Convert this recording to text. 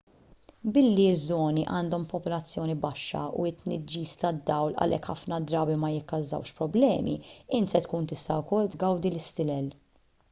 billi ż-żoni għandhom popolazzjoni baxxa u t-tniġġis tad-dawl għalhekk ħafna drabi ma jikkawżax problemi int se tkun tista' wkoll tgawdi l-istilel